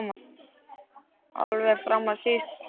Alveg fram á síðustu stundu.